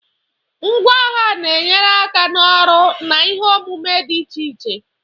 Ngwá agha na-enyere aka n'ọrụ na ihe omume dị iche iche.